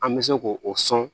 An bɛ se k'o o sɔn